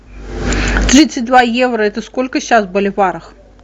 тридцать два евро это сколько сейчас в боливарах